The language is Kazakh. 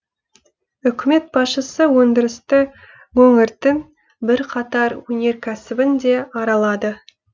үкімет басшысы өңдірісті өңірдің бірқатар өнеркәсібін де аралады